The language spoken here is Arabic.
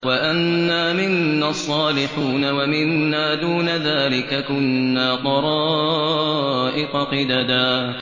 وَأَنَّا مِنَّا الصَّالِحُونَ وَمِنَّا دُونَ ذَٰلِكَ ۖ كُنَّا طَرَائِقَ قِدَدًا